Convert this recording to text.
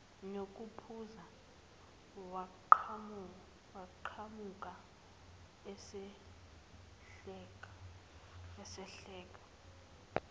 nokuphuza waqhamuka esehleka